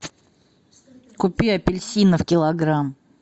купи апельсинов килограмм